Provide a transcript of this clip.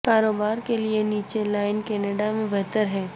کاروبار کے لئے نیچے لائن کینیڈا میں بہتر ہے